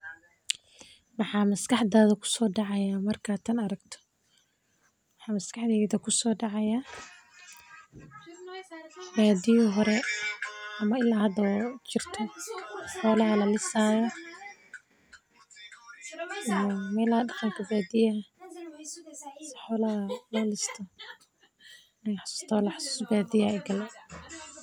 Maxaa maskaxda ku soo dhacaya markaad tan aragto, maxaa maskaxdeyda ku so dacaya badiyo hore ama ila hada in ee jorto xolaha lalisayo, iyo meelaha daqanka badiyaha xolaha lo listo xasus badiya aya igale.